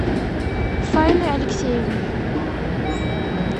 фаины алексеевны